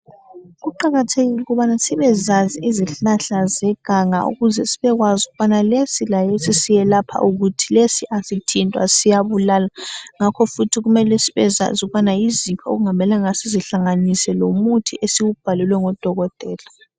Kuqakathekile ukubana sibezazi izihlahla zeganga ukuze sibekwazi ukubana lesi lalesi siyelapha ukuthi, lesi asithintwa siyabulala ngakho futhi kumele sibezazi ukuthi yiziphi okungamelanga sizihlanganise lomuthi esiwubhalelwe ngodokotela.